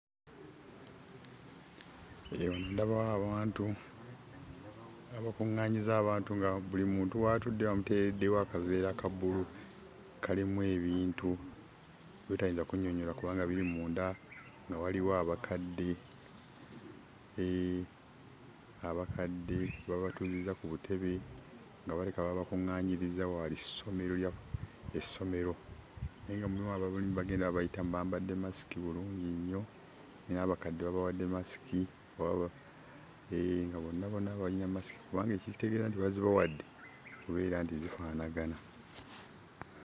Eyo ndabawo abantu abakuŋŋaanyizza abantu nga buli muntu w'atudde bamuteereddewo akaveera ka bbulu, kalimu ebintu by'otayinza kunnyonnyola kubanga biri munda, nga waliwo abakadde. Hee, abakadde babatuuzizza ku butebe nga balabika babakuŋŋaanyirizza waali ssomero lya essomero, naye nga mulimu abalimu bagenda babayitamu, bambadde masiki bulungi nnyo, n'abakadde babawadde masiki. Hee, nga bonna bonna balina masiki kubanga ekitegeeza nti bazibawadde, kubeera nga zifaanagana.